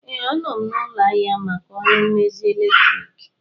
Ee, anọ m n'ụlọ ahịa maka ọrụ mmezi eletriki